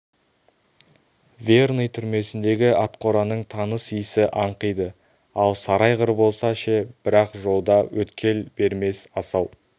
верный түрмесіндегі атқораның таныс исі аңқиды ал сары айғыр болса ше бірақ жолда өткел бермес асау